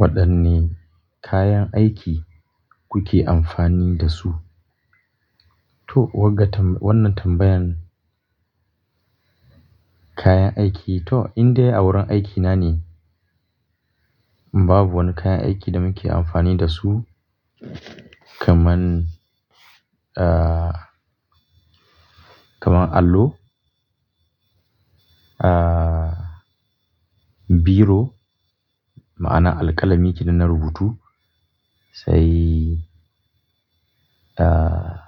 Waɗanne kayan aiki kuke amfani da su? To, wannan tambayan kayan aiki to indai a wurin aikina ne. Babu wani kayan aiki da muke amfani da su kamar, ah, kamar allo, ah, biro ma'ana alƙalami irin na rubutu sai, ah,